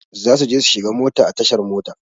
Zasu je su shiga mota a tashar mota.